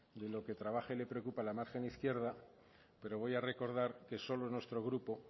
y lo que trabaje le preocupa la margen izquierda pero voy a recordar que solo nuestro grupo